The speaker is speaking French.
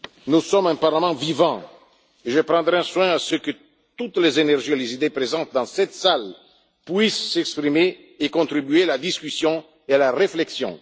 Nous sommes un Parlement vivant et je veillerai à ce que toutes les énergies et les idées présentes dans cette salle puissent s'exprimer et contribuer à la discussion et à la réflexion.